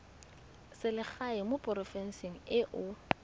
selegae mo porofenseng e o